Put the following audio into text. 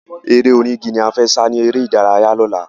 Eré onígi la fẹ́ sá ni eré ìdárayá lọ́la